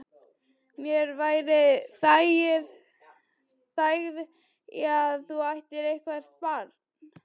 Mér væri þægð í að þú ættir eitthvert barn.